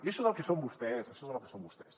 i això és el que són vostès i això és el que són vostès